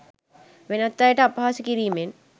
වෙනත් අයට අපහාස කිරීමෙන්.